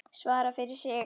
Svara fyrir sig.